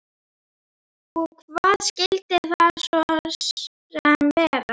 Og, hvað skyldi það svo sem vera?